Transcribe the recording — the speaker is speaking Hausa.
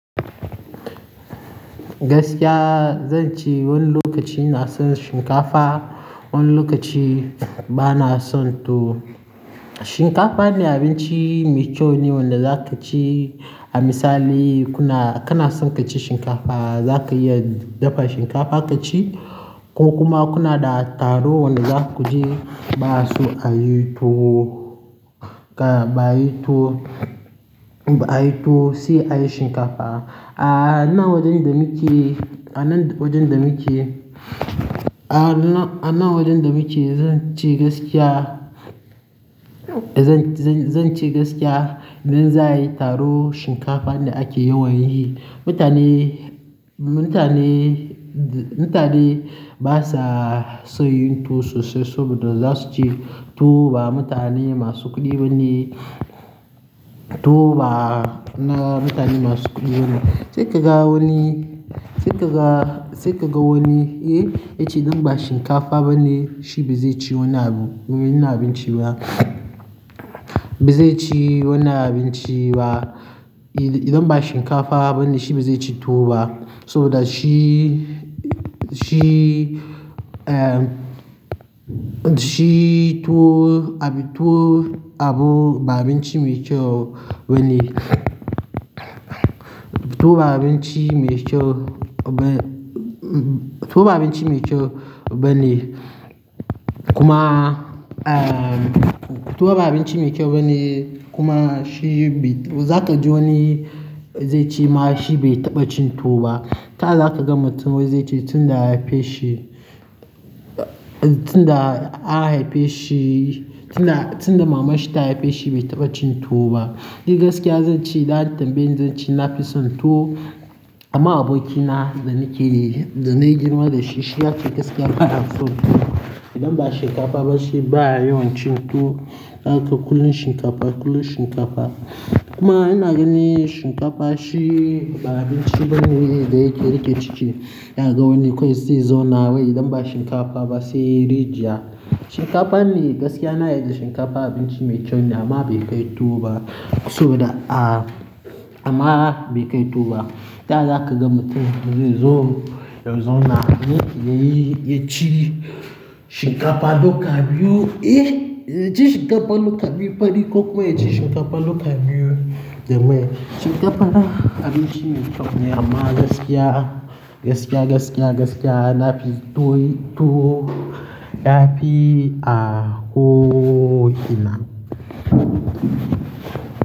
Gaskiya zan ce wani lokaci na son shinkafa, wani lokaci bana son tuwo. Shinkafa ne abinci mai kyau ne wanda za ka ci. A misali kuna, kana son ka ci shinkafa, za ka iya dafa shinkafa ka ci ko kuma kuna da taro wanda za ku je ba su ayi tuwo, ba ayi tuwo, ba ayi tuwo sai ayi shinkafa. A nan wajen da muke, a nan wajen da muke, a nan, a nan wajen da muke zan ce gaskiya, zan, zan, zan ce gaskiya idan za a yi taro shinkafa ne ake yawan yi. Mutane, mutane, mutane basa son yin tuwo sosai saboda za su ci tuwo ba mutane masu kuɗi bane, tuwo ba na mutane masu kuɗi bane. Sai ka ga wani, sai ka ga, sai ka ga wani, eh, ya ce idan ba shinkafa bane shi bai zai ci wani abu, wani abinci ba. Bai zai ci wani abinci ba. Idan ba shinkafa bane shi bai zai ci tuwo ba saboda shi, shi, eh, shi tuwo, tuwo abu ba abinci mai kyau bane. Tuwo ba abinci mai kyau ba, tuwo ba abinci mai kyau bane kuma, ah, tuwo ba abinci mai kyau bane kuma shi bai, za ka ji wani zai ce ma shi bai taɓa cin tuwo ba. Ta za ka gama tun wai zai ce tun da haife shi, tun da aka haife shi, tun da, tun da mamar shi ta haife shi bai taɓa cin tuwo ba. Ni gaskiya zan ce da daddabe zan ce na fi son tuwo amma abokina da nake, da na girma da shi, shi ya ce gaskiya bana son tuwo. Idan ba shinkafa ba sai ba a yi wani cin tuwo. Ya ce kullum shinkafa, kullum shinkafa. Kuma yana ganin shinkafa shi ba abinci bane da yake rike ciki. Ya ga wani kwai season nawa idan ba shinkafa ba sai rijiya. Shinkafa ne gaskiya na yarda shinkafa abinci mai kyau ne amma bai kai tuwo ba saboda a, amma bai kai tuwo ba. Ta za ka gama mutum da zai zauna, ya yi ya ci shinkafa lokaci biyu, eh, ya ci shinkafa lokaci biyu fari ko kuma ya ci shinkafa lokaci biyu, jamai. Shinkafa na abinci mai kyau ne amma gaskiya, gaskiya, gaskiya, gaskiya na fi tuwo, tuwo, na fi ahokina.